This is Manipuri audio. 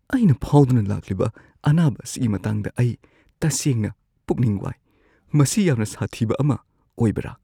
ꯑꯩꯅ ꯐꯥꯎꯗꯨꯅ ꯂꯥꯛꯂꯤꯕ ꯑꯅꯥꯕ ꯑꯁꯤꯒꯤ ꯃꯇꯥꯡꯗ ꯑꯩ ꯇꯁꯦꯡꯅ ꯄꯨꯛꯅꯤꯡ ꯋꯥꯏ꯫ ꯃꯁꯤ ꯌꯥꯝꯅ ꯁꯥꯊꯤꯕ ꯑꯃ ꯑꯣꯏꯕ꯭ꯔꯥ?